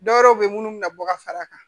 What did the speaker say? Dɔwɛrɛ be yen munnu mi na bɔ ka far'a kan